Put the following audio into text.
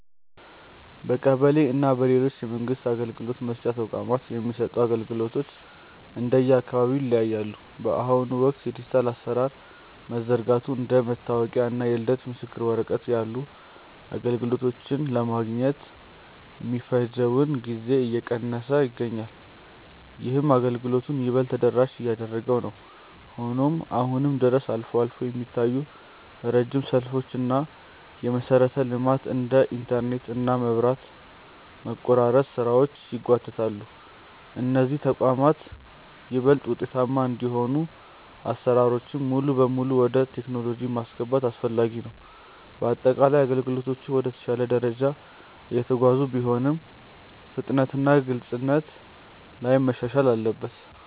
በቀበሌ እና በሌሎች የመንግስት አገልግሎት መስጫ ተቋማት የሚሰጡ አገልግሎቶች እንደየአካባቢው ይለያያሉ። በአሁኑ ወቅት የዲጂታል አሰራሮች መዘርጋቱ እንደ መታወቂያ እና የልደት ምስክር ወረቀት ያሉ አገልግሎቶችን ለማግኘት የሚፈጀውን ጊዜ እየቀነሰው ይገኛል። ይህም አገልግሎቱን ይበልጥ ተደራሽ እያደረገው ነው። ሆኖም አሁንም ድረስ አልፎ አልፎ የሚታዩ ረጅም ሰልፎች እና የመሰረተ ልማት (እንደ ኢንተርኔት እና መብራት) መቆራረጥ ስራዎችን ያጓትታሉ። እነዚህ ተቋማት ይበልጥ ውጤታማ እንዲሆኑ አሰራሮችን ሙሉ በሙሉ ወደ ቴክኖሎጂ ማስገባት አስፈላጊ ነው። በአጠቃላይ አገልግሎቶቹ ወደ ተሻለ ደረጃ እየተጓዙ ቢሆንም፣ ፍጥነትና ግልጽነት ላይ መሻሻል አለበት።